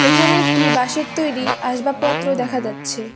এখানে একটি বাঁশের তৈরি আসবাবপত্র দেখা যাচ্ছে।